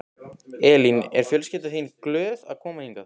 Elín: Er fjölskyldan þín glöð að koma hingað?